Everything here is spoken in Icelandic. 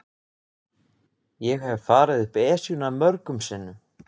Ég hef farið upp Esjuna mörgum sinnum.